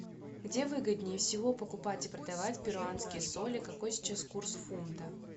где выгоднее всего покупать и продавать перуанские соли какой сейчас курс фунта